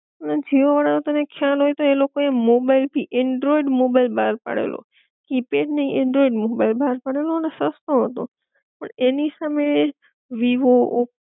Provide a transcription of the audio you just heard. અને જીઓ વાળા નો તને ખ્યાલ હોય તો, એ લોકો મોબાઈલ થી એન્ડ્રોઇડ મોબાઈલ બાર પાડેલો કીપેડ નહિ એન્ડ્રોઇડ મોબાઈલ બાર પડેલો અને સસ્તો હતો, પણ એની સામે વિવો, ઓપ્પો